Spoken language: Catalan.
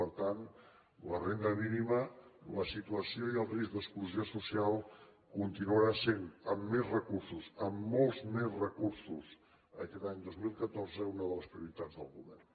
per tant la renda mínima la situació i el risc d’exclusió social continuaran sent amb més recursos amb molts més recursos aquest any dos mil catorze una de les prioritats del govern